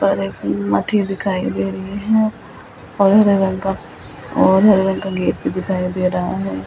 और एक मठी दिखाई दे रही है और हरे रंग का और हरे रंग का गेट भी दिखाई दे रहा है ।